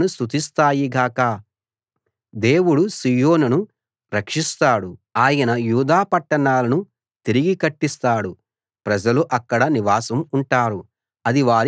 దేవుడు సీయోనును రక్షిస్తాడు ఆయన యూదా పట్టణాలను తిరిగి కట్టిస్తాడు ప్రజలు అక్కడ నివాసం ఉంటారు అది వారి సొంతం అవుతుంది